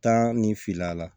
Taa ni fil'a la